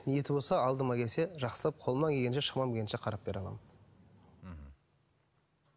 ниеті болса алдыма келсе жақсылап қолымнан келгенше шамам келгенше қарап бере аламын мхм